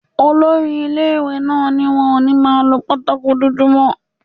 Olori ilé-ìwé náà ní wọn ò ní máa lọ pátákò dúdú mọ́